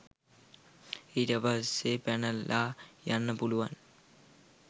ඊට පස්සේ පැනලා යන්න පුළුවන්